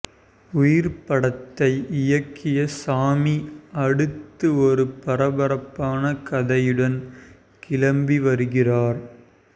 உயிர் படத்தை இயக்கிய சாமி அடுத்து ஒரு பரபரப்பான கதையுடன் கிளம்பி வருகிறார்